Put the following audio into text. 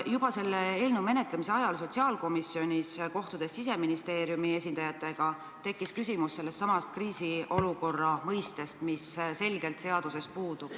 Juba selle eelnõu menetlemise ajal sotsiaalkomisjonis, kui me kohtusime Siseministeeriumi esindajatega, tekkis küsimus sellestsamast kriisiolukorra mõistest, mis seaduses puudub.